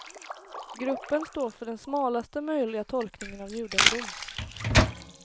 Gruppen står för den smalaste möjliga tolkningen av judendom.